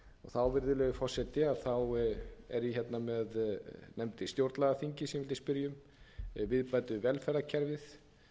þá virðulegi forseti ég nefndi stjórnlagaþingið sem ég vildi spyrja um viðbætur við velferðarkerfið